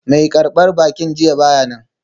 Mai karbar baki jiya ba ya nan.